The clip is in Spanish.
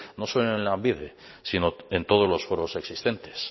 no solo en lanbide sino en todos los foros existentes